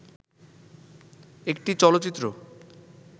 একটি চলচ্চিত্র